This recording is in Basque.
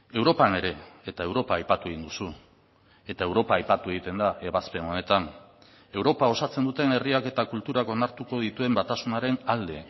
europan ere eta europa aipatu egin duzu eta europa aipatu egiten da ebazpen honetan europa osatzen duten herriak eta kulturak onartuko dituen batasunaren alde